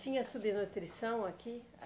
Tinha subnutrição aqui?